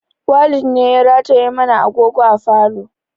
Walid ne ya rataye mana agogo a falo